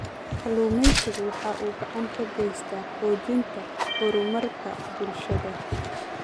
Kalluumaysigu waxa uu gacan ka geystaa xoojinta horumarka bulshada.